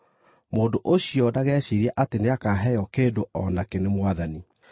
Mũndũ ũcio ndageciirie atĩ nĩakaheo kĩndũ o nakĩ nĩ Mwathani;